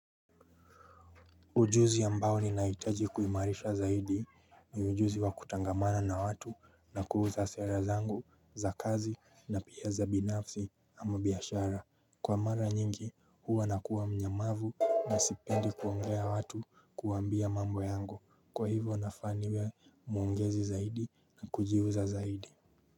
Ujuzi ambao ninahitaji kuimarisha zaidi ni ujuzi wa kutangamana na watu na kuuza sera zangu za kazi na pia za binafsi ama biashara. Kwa mara nyingi, huwa nakuwa mnyamavu na sipendi kuongea na watu, kuambia mambo yangu. Kwa hivyo, nafaa niwe muongezi zaidi na kujiuza zaidi.